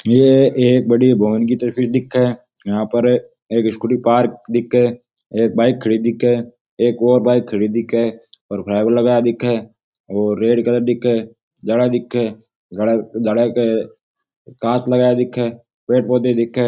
यह एक बड़ी भवन की तस्वीर दिखे यहां पर स्कूटी पार्क दिखे एक बाइक खड़ी दिखे एक और बाइक खड़ी दिखे और फाइबर लगा दिखे और रेड कलर दिखे जाला दिखे जाला के कांच लगाया दिखे पेड़ पौधा दिखे।